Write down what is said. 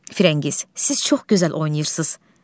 Firəngiz, siz çox gözəl oynayırsınız.